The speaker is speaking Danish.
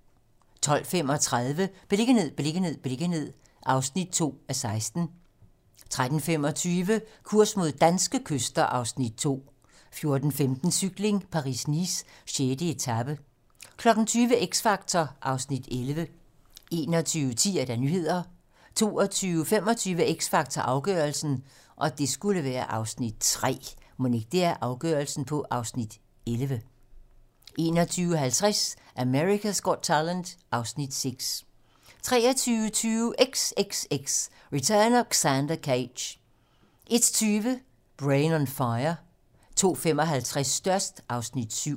12:35: Beliggenhed, beliggenhed, beliggenhed (2:16) 13:25: Kurs mod danske kyster (Afs. 2) 14:15: Cykling: Paris-Nice - 6. etape 20:00: X Factor (Afs. 11) 21:10: Nyhederne 21:25: X Factor - afgørelsen (Afs. 3) 21:50: America's Got Talent (Afs. 6) 23:20: XXX: Return of Xander Cage 01:20: Brain on Fire 02:55: Størst (Afs. 7)